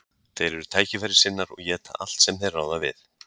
Þeir eru tækifærissinnar og éta allt sem þeir ráða við.